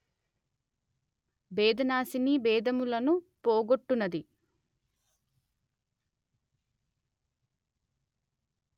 భేదనాశినీ భేదములను పోగొట్టునది